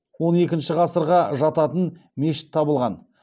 тараздағы қарахан баба кесенесі жанынан он екінші ғасырға жататын мешіт табылған